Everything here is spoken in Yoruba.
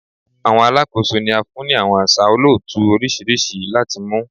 Awọn alakoso ni a fun ni awọn aṣa olootu oriṣiriṣi lati mu